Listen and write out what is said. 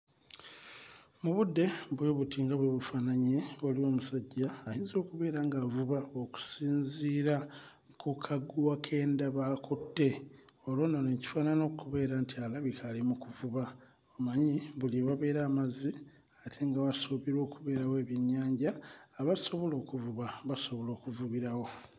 Mu budde bwe buti nga bwe bufaananye waliwo omusajja ayinza okubeera nga avuba okusinziira ku kaguwa ke ndaba akutte olwo nno ne kifaanana okubeera nti alabika ali mu kuvuba omanyi buli ewabeera amazzi ate nga wasuubirwa okubeerawo ebyennyanja abasobola okuvuba basobola okuvubirawo.